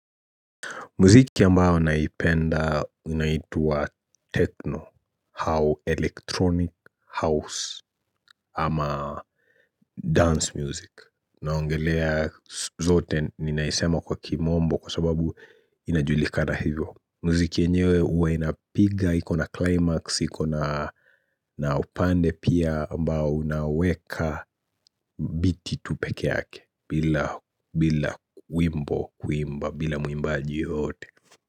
Muziki ambao naipenda unaitwa techno au electronic house ama dance music naongelea zote ninaisema kwa kimombo kwa sababu inajulikada hivyo. Muziki yenyewe huwa inapiga, iko na climax, iko na upande pia ambao unaweka biti tupekee yake bila wimbo kuimba bila mwimbaji yoyote.